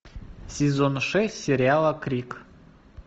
сезон шесть сериала крик